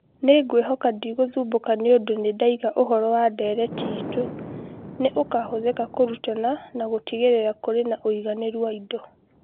Nĩ ngwĩhoka ndũgũthumbũka nĩ ũndũ nĩ ndaiga ũhoro wa ndeereti itũ. Nĩ ũkahũthĩka kũrutana na gũtigĩrĩra kũrĩ na ũigananĩru wa indo.